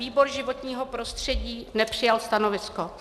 Výbor životního prostředí nepřijal stanovisko.